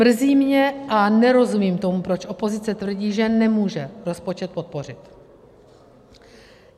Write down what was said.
Mrzí mě a nerozumím tomu, proč opozice tvrdí, že nemůže rozpočet podpořit.